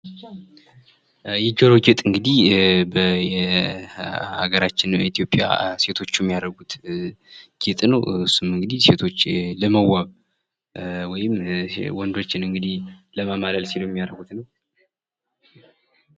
የጆሮ ጌጥ እንግዲህ በሀገራችን ኢትዮጵያ ሴቶች የሚያደርጉት ጌጥ ነው። እሱም እንግዲህ ሴቶች ለመዋብ ወይም ወንዶችን እንግድህ ለማማለል ሲሉ የሚያደርጉት ነው።